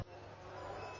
Bağlıdır.